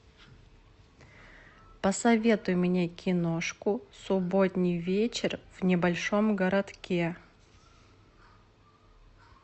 посоветуй мне киношку субботний вечер в небольшом городке